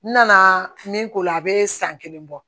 N nana min k'o la a bɛ san kelen bɔ